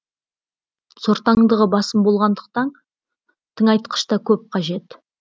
сортаңдығы басым болғандықтан тыңайтқыш та көп қажет